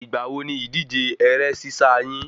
Ìgbà wo ni ìdíje ẹrẹ́ sísá yín?